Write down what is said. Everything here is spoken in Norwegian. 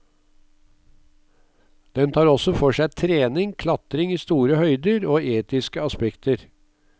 Den tar også for seg trening, klatring i store høyder og etiske aspekter.